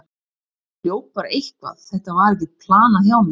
Ég hljóp bara eitthvað, þetta var ekkert planað hjá mér.